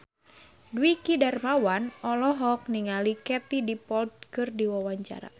Dwiki Darmawan olohok ningali Katie Dippold keur diwawancara